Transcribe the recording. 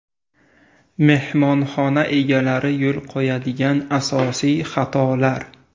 Mehmonxona egalari yo‘l qo‘yadigan asosiy xatolar.